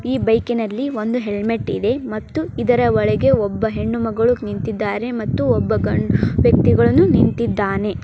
ಈ ಬೈಕ್ ಇನಲ್ಲಿ ಒಂದು ಹೆಲ್ಮಟ್ ಇದೆ ಮತ್ತು ಇದರ ಒಳಗೆ ಒಬ್ಬ ಹೆಣ್ಣು ಮಗಳು ನಿಂತಿದ್ದಾರೆ ಮತ್ತು ಒಬ್ಬ ಗಂಡು ವ್ಯಕ್ತಿಗಳನು ನಿಂತಿದ್ದಾನೆ.